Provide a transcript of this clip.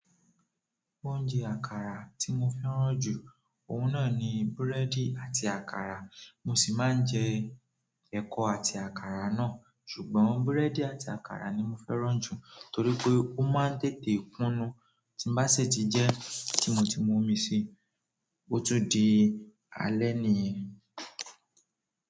Oúnjẹ àkàrà tí mo fẹ́ràn jù, ohun náà ni búrẹ́dì àti àkàrà, mo sì máa ń jẹ ẹ̀kọ àti àkàrà náà. Ṣùgbọ́n búrẹ́dì àti àkàrà ni mo fẹ́ràn jù torí pé ó máa ń tètè kùnú. Tí n bá sì tí jẹ́ tí mo ti mu omi sí, ó tún di alẹ́ nìyẹn.